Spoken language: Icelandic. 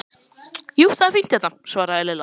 Jú, það er fínt hérna svaraði Lilla.